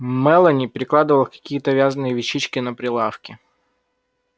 мелани перекладывала какие-то вязаные вещички на прилавке